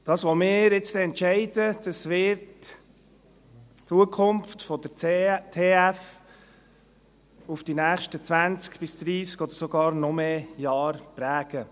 Das, was wir jetzt gleich entscheiden, wird die Zukunft der TF Bern die nächsten zwanzig bis dreissig oder sogar noch mehr Jahre prägen.